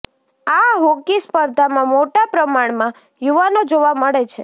આ હોકી સ્પર્ધામાં મોટા પ્રમાણમાં યુવાનો જોવા મળે છે